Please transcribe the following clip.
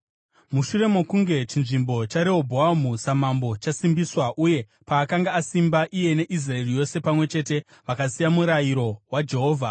Mushure mokunge chinzvimbo chaRehobhoamu samambo chasimbiswa, uye paakanga asimba, iye neIsraeri yose pamwe chete vakasiya murayiro waJehovha.